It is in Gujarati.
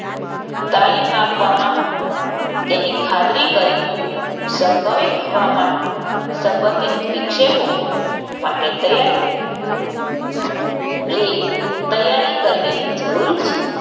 તાલીમ આપવામાં તેની ખાતરી કરી સંભવિત હવામાંન સંબધિત વિક્ષેપો માટે તૈયાર રી તૈયારી કરવી જરૂરી છે.